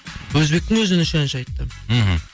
өзбектің өзінен үш әнші айтты мхм